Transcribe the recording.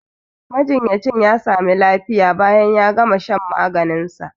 Majinyacin ya sami lafiya bayan ya gama shan maganin sa